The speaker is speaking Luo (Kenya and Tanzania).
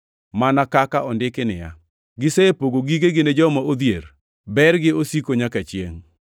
Mana kaka ondiki niya, “Gisepogo gigegi ne joma odhier, bergi osiko nyaka chiengʼ.” + 9:9 \+xt Zab 112:9\+xt*